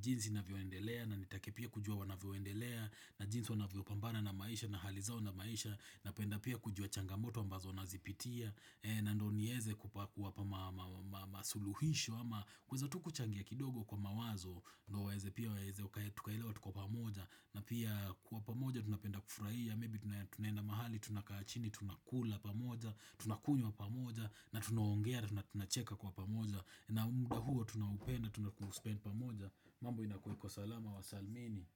jinsi navyoendelea na nitake pia kujua wanavyoendelea na jinsi wanavyo pambana na maisha na hali zao na maisha napenda pia kujua changamoto ambazo nazipitia na ndio nieze kuwapa masuluhisho ama kuweza tu kuchangia kidogo kwa mawazo ndo waeze pia waeze tukaelewa tuko pamoja na pia kuwa pamoja tunapenda kufurahia Maybe tunaenda mahali tunakaa chini tunakula pamoja tunakunywa pamoja na tunaongea na tunacheka kwa pamoja na muda huo tunaupenda tunapospend pamoja mambo inakuweko salama wa salmini.